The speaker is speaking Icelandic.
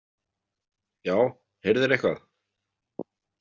Já, heyrðirðu eitthvað?